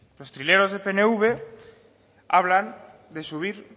los trileros del pnv hablan de subir